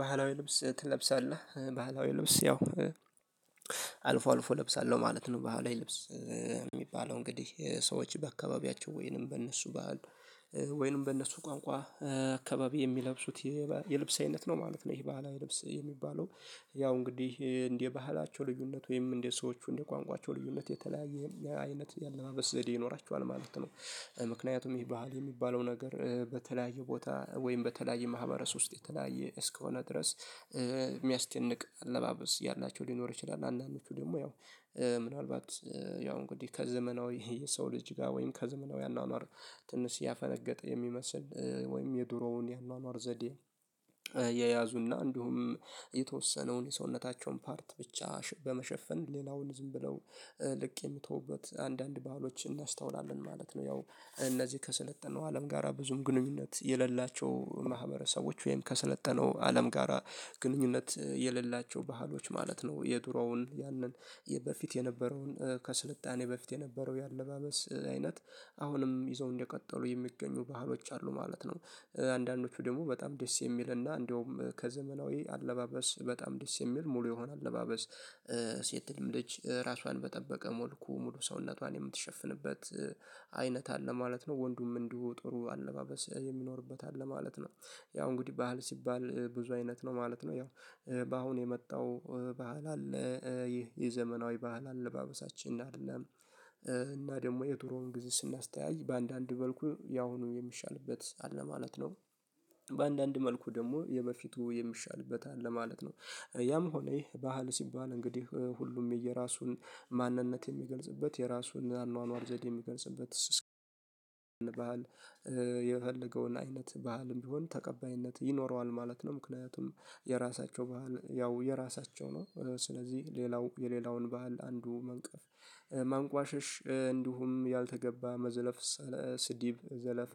ባህላዊ ልብስ ትለብሳለህ? ባህላዊ ልብስ ያው አልፎ አልፎ እለብሳለሁ ማለት ነው። ባህል ላይ ልብስ የሚባለው እንግዲህ ሰዎች በአካባቢያቸው ወይንም በእነሱ ባህል ወይንም በእነሱ ቋንቋ አካባቢ የሚለብሱት የልብስ አይነት ነው ማለት ነው። ይሄ ባህላዊ ልብስ የሚባለው ያው እንግዲህ እንደ ባህላቸው ልዩነት ወይም እንደ ሰዎቹ እንደ ቋንቋቸው ልዩነት የተለያየ አይነት ያለባበስ ዘዴ ይኖራቸው ማለት ነው። ምክንያቱም ይህ ባህል የሚባለው ነገር በተለያየ ቦታ ወይም በተለያየ ማህበረስ ውስጥ የተለያየ እስከሆነ ድረስ የሚያስደንቅ አለባበስ ያላቸው ሊኖር ይችላል። አንዳንዶቹ ደግሞ ያው ምናልባት ያው እንግዲህ ከዘመናዊ የሰው ልጅ ጋር ወይም ከዘመናዊ አኗኗር ትንሽ ያፈነገጠ የሚመስል ወይም የድሮውን የአኗኗር ዘዴ የያዙና እንዲሁም የተወሰነውን የሰውነታቸውን ፓርት ብቻ በመሸፈን ሌላውን ዝም ብለው ልቅ የሚተውበት አንዳንድ ባህሎች እናስተውላለን ማለት ነው። ያው እነዚህ ከሰለጠነው አለም ጋራ ብዙም ግንኙነት የሌላቸው ማህበረሰቦች ወይም ከሰለጠነው አለም ጋራ ግንኙነት የሌላቸው ባህሎች ማለት ነው። የዱሮውን ያንን በፊት የነበረውን ከስልጣኔ በፊት የነበረው የአለባበስ አይነት አሁንም ይዘው እንደቀጠሉ የሚገኙ ባህሎች አሉ ማለት ነው። አንዳንዶቹ ደግሞ በጣም ደስ የሚል እና እንደውም ከዘመናዊ አለባበስ በጣም ደስ የሚል ሙሉ የሆነ አለባበስ ሴትም ልጅ ራሷን በጠበቀ ሞልኩ ሙሉ ሰውነቷን የምትሸፍንበት አይነት አለ ማለት ነው። ወንዱም እንደው ጥሩ አለባበስ የሚኖርበት አለ ማለት ነው። ያው እንግዲህ ባህል ሲባል ብዙ አይነት ነው ማለት ነው። ያው በአሁን የመጣው ባህል አለ። ይህ የዘመናዊ ባህል አለባበሳችን አይደለም እና ደግሞ የድሮውን ግዜ ስናስተያይ በአንዳንድ መልኩ ያሁኑ የሚሻልበት አለ ማለት ነው። በአንዳንድ መልኩ ደግሞ የበፊቱ የሚሻልበት አለ ማለት ነው። ያም ሆነ ይሄ ባህል ሲባል እንግዲህ ሁሉም የየራሱን ማንነት የሚገልጽበት የራሱን አርኗኗር ዘዴ የሚገልጽበት ስስ ባህል የፈለገውን አይነት ባህልም ቢሆን ተቀባይነት ይኖረዋል ማለት ነው። ምክንያቱም የራሳቸው ባህል ያው የራሳቸው ነው። ስለዚህ ሌላው የሌላውን ባህል አንዱ መንቀፍ ማንቋሽሽ እንዲሁም ያልተገባ መዘለፍ ስድብ ዘለፋ